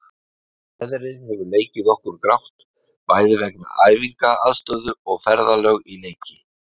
Veðrið hefur leikið okkur grátt, bæði vegna æfingaaðstöðu og ferðalög í leiki.